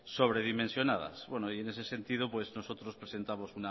sobredimensionadas y bueno en ese sentido pues nosotros presentamos